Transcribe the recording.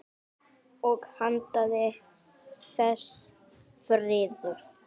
Og handan þess: friður.